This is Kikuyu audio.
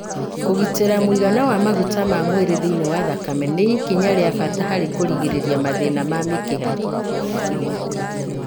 Kũgitĩra mũigana wa maguta ma mwĩrĩ thĩinĩ wa thakame nĩ ikinya rĩa bata harĩ kũgirĩrĩria mathĩna ma mĩkiha.